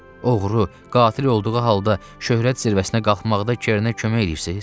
Oğru, qatil olduğu halda şöhrət zirvəsinə qalxmaqda Kernə kömək eləyirsiz?